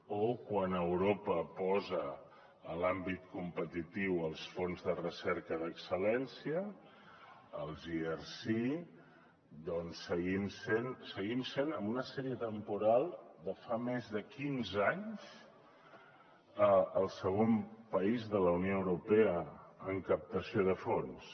o quan europa posa a l’àmbit competitiu els fons de recerca d’excel·lència els erc doncs seguim sent en una sèrie temporal de fa més de quinze anys el segon país de la unió europea en captació de fons